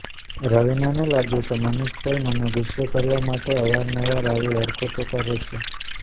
રવિનાને લાગ્યું કે મનીષ પોલ મને ગુસ્સે કરવા માટે અવાર નવાર આવી હરકતો કરે છે